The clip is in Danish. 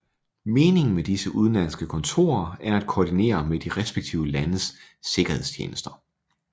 Meningen med disse udenlandske kontorer er at koordinere med de respektive landes sikkerhedstjenester